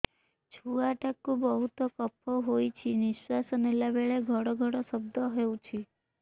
ଛୁଆ ଟା କୁ ବହୁତ କଫ ହୋଇଛି ନିଶ୍ୱାସ ନେଲା ବେଳେ ଘଡ ଘଡ ଶବ୍ଦ ହଉଛି